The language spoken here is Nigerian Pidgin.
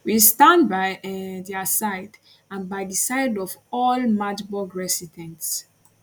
we stand by um dia side and by di side of all magdeburg residents